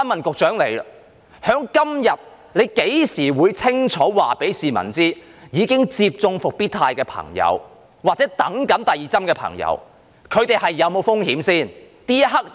她何時可以清楚告訴市民，已接種復必泰疫苗或正待接種第二劑疫苗的朋友會否有風險呢？